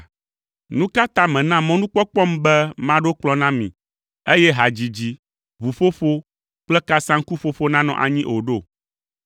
Nu ka ta mèna mɔnukpɔkpɔm be maɖo kplɔ̃ na mi, eye hadzidzi, ʋuƒoƒo kple kasaŋkuƒoƒo nanɔ anyi o ɖo?